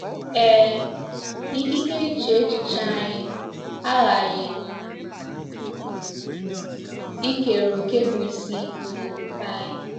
Ee, ikike iche echiche anyị aghaghị ikere òkè bụ́ isi n’ofufe anyị.